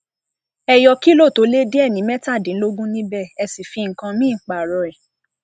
ẹ yọ kílọ tó le díẹ ní mẹtàdínlógún níbẹ ẹ sì fi nǹkan mìín pààrọ rẹ